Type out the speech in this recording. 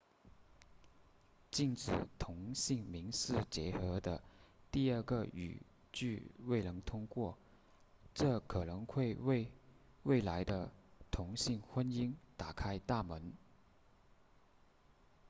禁止同性民事结合的第二个语句未能通过这可能会为未来的同性婚姻打开大门